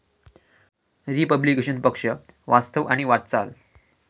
Republican पक्ष वास्तव आणि वाटचाल